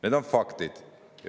Need on faktid!